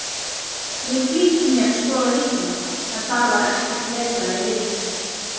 Ég flýtti mér að skoða hilluna en þar var ekkert letrað í ryk.